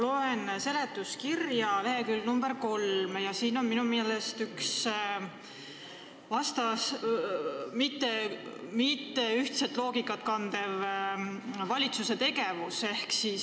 Ma loen seletuskirja lehekülge 3, kus on kirjas üks valitsuse otsus, mis minu meelest ei kanna ühtset loogikat.